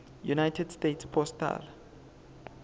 united states postal